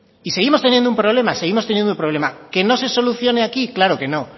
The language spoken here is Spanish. y seguimos teniendo un problema seguimos teniendo un problema que no se solucione aquí claro que no